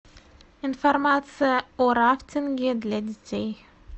информация о рафтинге для детей